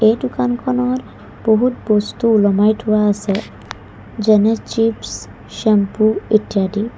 এই দোকানখনত বহুত বস্তু ওলোমাই থোৱা আছে যেনে চিপছ ছেম্পো ইত্যাদি।